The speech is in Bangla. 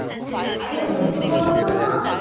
আরে ও কি বলো তো মা